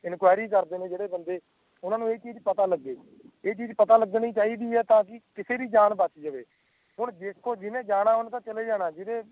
enquiry ਕਰਦੇ ਨੇ ਜੇੜੇ ਬੰਦੇ ਓਹਨਾ ਨੂੰ ਇਹ ਚੀਜ ਪਤਾ ਲਾਗੇ ਏ ਚੀਜ ਪਤਾ ਲਗਣੀ ਚਾਹੀਦੀ ਤਾਕਿ ਕਿਸੇ ਦੀ ਜਾਣ ਬਾਚ ਜਵੇ ਹੁਣ ਦੇਖੋ ਜਿਨ੍ਹੇ ਜਾਣਾ ਓਨੇ ਤੇ ਚਲੇ ਜਾਣਾ